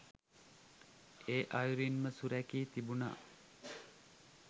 ඒ අයුරින් ම සුරැකී තිබුණා.